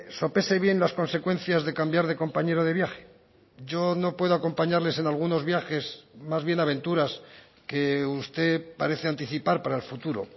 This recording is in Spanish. sopese bien las consecuencias de cambiar de compañero de viaje yo no puedo acompañarles en algunos viajes más bien aventuras que usted parece anticipar para el futuro